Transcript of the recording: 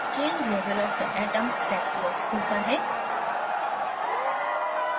change label of the atom text box खुलता है